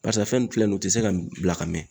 Barisa fɛn nun filɛ nin ye o tɛ se ka bila ka mɛn.